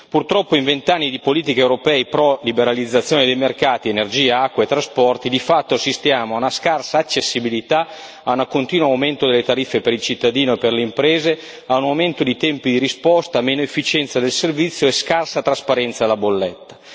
Purtroppo in vent'anni di politiche europee pro liberalizzazione di mercati, energia, acqua e trasporti, di fatto, assistiamo a una scarsa accessibilità, a un contino aumento delle tariffe per il cittadino e per le imprese, a un aumento dei tempi di risposta, a meno efficienza del servizio e a una scarsa trasparenza della bolletta.